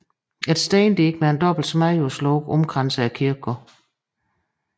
Et stendige med en dobbelt smedejernslåge omkranser kirkegården